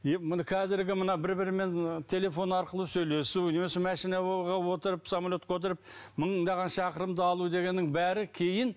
қазіргі мына бір бірімен телефон арқылы сөйлесу не болмаса машинаға отырып самолетке отырып мыңдаған шақырымды алу дегеннің бәрі кейін